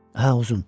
Hə, uzun.